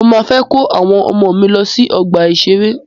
Mọ máa fẹ́ kó àwọn ọmọ mí lọ sí ọgbà ìṣẹ̀rẹ́.